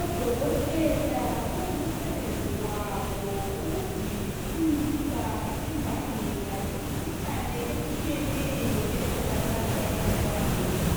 O dokotela kungumsebenzi wabo ukudingisisa imbangela yemikhuhlane etshiyeneyo etholakala ebantwaneni